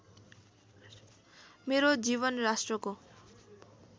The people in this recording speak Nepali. मेरो जीवन राष्ट्रको